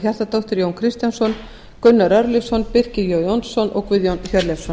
hjartardóttir jón kristjánsson gunnar örlygsson birkir j jónsson og guðjón hjörleifsson